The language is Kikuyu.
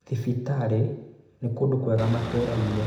thibitarĩ nĩ kũndũ kwega matũra-inĩ